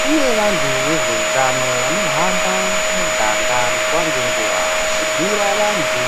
kune vantu vezveutano vanohamba muganga nguva ngenguva, vachibhuira vantu